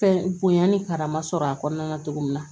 Fɛn bonya ni karama sɔrɔ a kɔnɔna na cogo min na